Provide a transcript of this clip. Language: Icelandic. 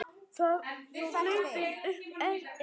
Hvað þá hlaupið upp Esjuna.